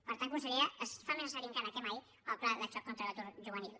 per tant consellera es fa més necessari encara més que mai el pla de xoc contra l’atur juvenil